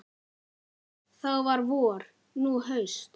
Þá var vor, nú haust.